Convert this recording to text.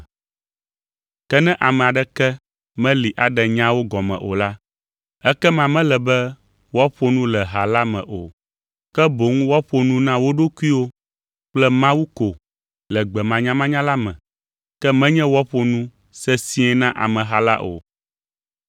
Ke ne ame aɖeke meli aɖe nyaawo gɔme o la, ekema mele be woaƒo nu le ha la me o, ke boŋ woaƒo nu na wo ɖokuiwo kple Mawu ko le gbe manyamanya la me, ke menye woaƒo nu sesĩe na ameha la o.